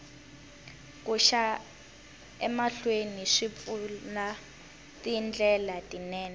ku xa emahlweni swi pfula tindlela tinene